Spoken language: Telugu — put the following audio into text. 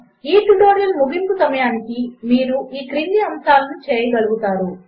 ఈట్యుటోరియల్ముగింపుసమయమునకు మీరుఈక్రిందిఅంశములనుచేయగలుగుతారు